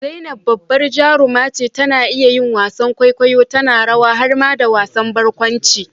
zainab babbar jaruma ce, tana iya yin wasan kwaikwayo, tana rawa har ma da wasan barkwanci